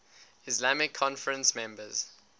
islamic conference members